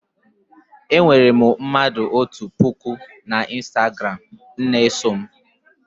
Enwere m mmadụ otu puku n'Ịstagram na-eso m